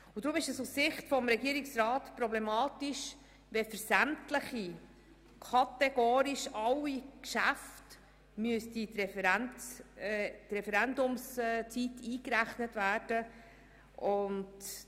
Deshalb ist es aus Sicht der Regierung problematisch, wenn kategorisch für sämtliche Geschäfte die Referendumsfrist eingerechnet werden müsste.